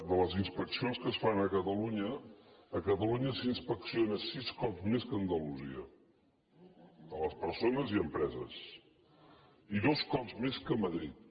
de les inspeccions que es fan a catalunya a catalunya s’inspecciona sis cops més que a andalusia les persones i les empreses i dos cops més que a madrid